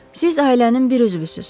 Siz ailənin bir üzvüsünüz.